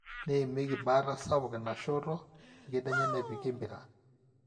neimieki baata sapuk ina shoto ekedienye nepiki empira